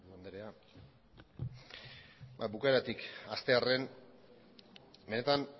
eskerrik asko bukaeratik hastearren benetan